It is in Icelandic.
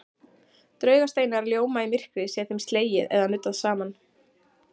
Draugasteinar ljóma í myrkri sé þeim slegið eða nuddað saman.